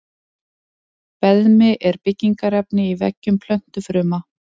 Beðmi er byggingarefni í veggjum plöntufruma.